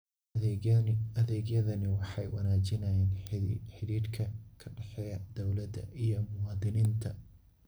Adeegyadani waxay wanaajiyaan xidhiidhka ka dhexeeya dawladda iyo muwaadiniinta.